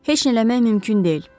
Heç nə eləmək mümkün deyil.